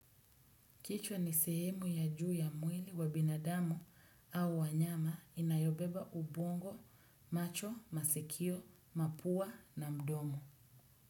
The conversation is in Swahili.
Kichwa ni sehemu ya juu ya mwili wa binadamu au wanyama inayobeba ubongo, macho, masikio, mapua na mdomo.